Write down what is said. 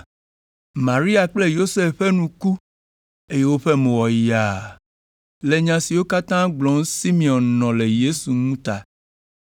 Maria kple Yosef ƒe nu ku, eye woƒe mo wɔ yaa le nya siwo katã gblɔm Simeon nɔ le Yesu ŋu ta.